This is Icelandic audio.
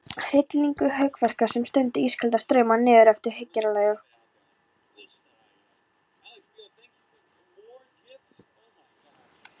Hryllileg hugvekja sem sendi ískalda strauma niðreftir hryggjarliðunum.